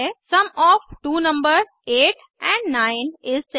sum of two numbers 8 amp 9 is 17